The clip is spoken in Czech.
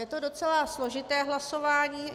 Je to docela složité hlasování.